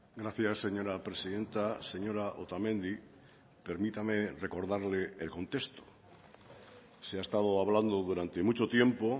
gracias señora presidenta señora otamendi permítame recordarle el contexto se ha estado hablando durante mucho tiempo